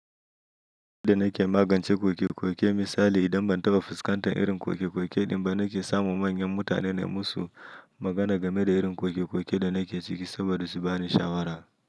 Irin da nake magance kokekoke misali idan ban taba fuskantar irin kokekoke din ba, nake samu manyan mutane nai musu magana game da irin kokekoke da nake ciki saboda su bani shawara.